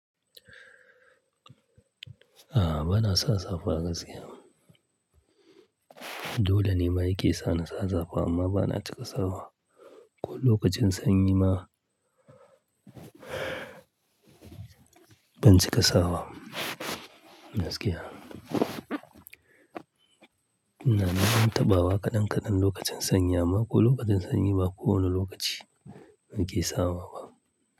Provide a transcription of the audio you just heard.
A'a, bana sa safa gaskiya. Dole ne ma yake sa na sa safa amma bana cika sawa. Ko lokacin sanyi ma ban cika sawa gaskiya. Na dai ɗan taɓawa kaɗan kaɗan lokacin sanyi amma ko lokacin sanyi ba kowane lokaci nake sawa ba.